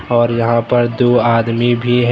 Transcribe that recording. और यहां पर दो आदमी भी है।